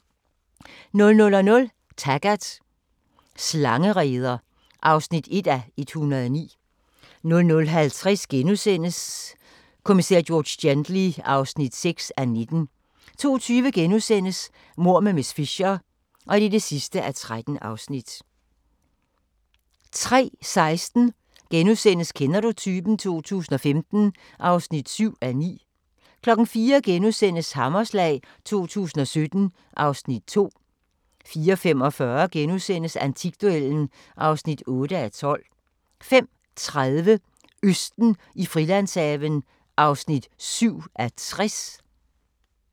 00:00: Taggart: Slangereder (1:109) 00:50: Kommissær George Gently (6:19)* 02:20: Mord med miss Fisher (13:13)* 03:16: Kender du typen? 2015 (7:9)* 04:00: Hammerslag 2017 (Afs. 2)* 04:45: Antikduellen (8:12)* 05:30: Østen i Frilandshaven (7:60)